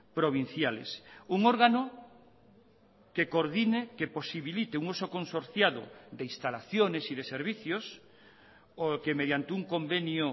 provinciales un órgano que coordine que posibilite un uso consorciado de instalaciones y de servicios o que mediante un convenio